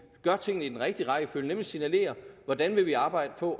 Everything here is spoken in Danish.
gør tingene i den rigtige rækkefølge nemlig først signalerer hvordan vi vil arbejde på